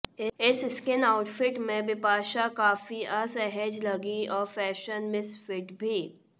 इस skin outfit में बिपाशा काफी असहज लगीं और फैशन मिस फिट भी